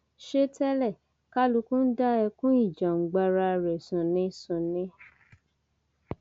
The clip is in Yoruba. ṣe tẹlẹ kálukú ń dá ẹkún ìjàngbara rẹ sùn ni sùn ni